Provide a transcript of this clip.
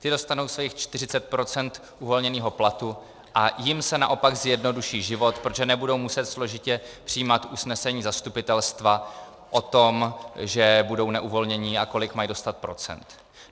Ti dostanou svých 40 % uvolněného platu a jim se naopak zjednoduší život, protože nebudou muset složitě přijímat usnesení zastupitelstva o tom, že budou neuvolnění a kolik mají dostat procent.